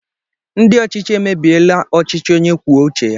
Ndị ọchịchị emebiela ọchịchị onye kwuo uche ya